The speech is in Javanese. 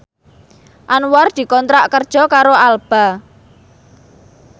Anwar dikontrak kerja karo Alba